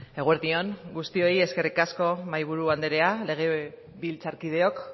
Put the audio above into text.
eguerdi on guztioi eskerrik asko mahaiburu andrea legebiltzarkideok